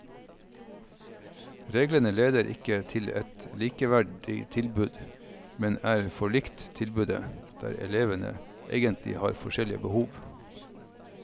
Reglene leder ikke til et likeverdig tilbud, men et for likt tilbud der elevene egentlig har forskjellige behov.